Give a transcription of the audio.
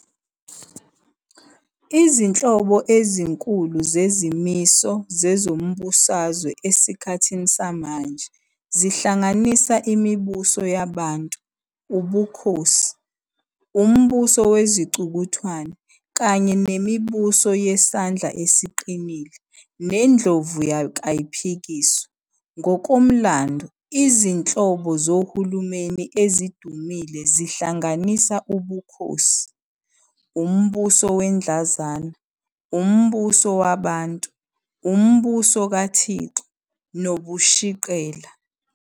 Izinhlobo ezinkulu zezimiso zezombusazwe esikhathini samanje zihlanganisa imibuso yabantu, ubukhosi, umbuso wezicukuthwane, kanye nemibuso yesandla esiqinile nendlovukayiohikiswa. Ngokomlando izinhlobo zohulumeni ezidumule zihlanganisa ubukhosi, umbuso wedlanzana, umbuso wabantu, umbuso kathixo, nobushiqela.